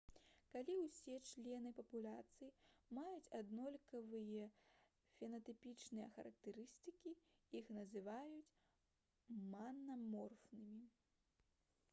калі ўсе члены папуляцыі маюць аднолькавыя фенатыпічныя характарыстыкі іх называюць манаморфнымі